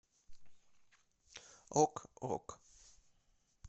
ок ок